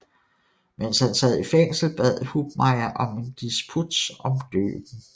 Mens han sad i fængsel bad Hubmaier om en disputs om døben